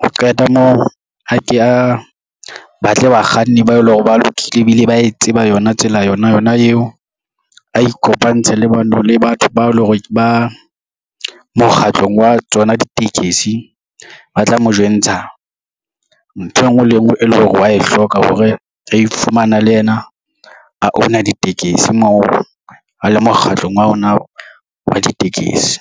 Ho qeta moo ha ke ya batle bakganni bao e leng hore ba lokile ebile ba e tseba yona tsela yona yona eo, a ikopantshe le batho bao e le hore ba mokgatlong wa tsona ditekesi ba tla mo jwentsha ntho e ngwe le e ngwe e lore wa e hloka hore re ifumana le yena a owner ditekesi moo, a le mokgahlong wa ona wa ditekesi.